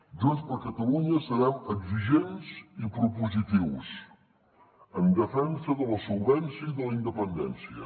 junts per catalunya serem exigents i propositius en defensa de la solvència i de la independència